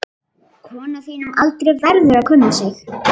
Kona á þínum aldri verður að kunna sig.